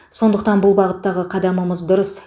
сондықтан бұл бағыттағы қадамымыз дұрыс